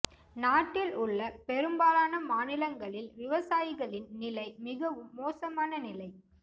நாட்டில் உள்ள பெரும்பாலான மாநிலங்களில் விவசாயிகளின் நிலை மிகவும் மோசமான நிலை